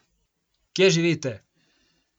Kje živite!